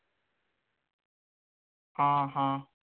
हां हां